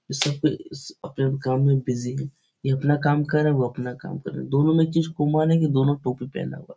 सब कोई अपने-अपने काम मे बीजी है | ये अपना काम कर रहा है वो अपना काम कर रहा है दोनों मे एक चीज कॉमन है की दो टोपी पहना हुआ है ।